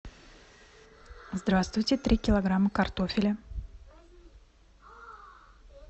здравствуйте три килограмма картофеля